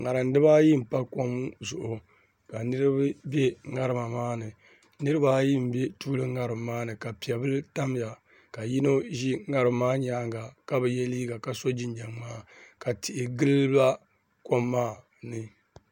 ŋarim dibaayi n pa kom zuɣu ka niraba bɛ ŋarim maa ni niraba ayi n bɛ tuuli ŋarim maa ni ka piɛ bili tamya ka yino ʒi ŋarim maa nyaanga ka bi yɛ liiga ka so jinjɛm ŋmaa ka tihi gilila kom maa ni